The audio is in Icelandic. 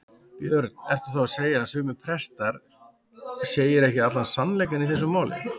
Björn: Ertu þá að segja að sumir prestar segir ekki allan sannleikann í þessu máli?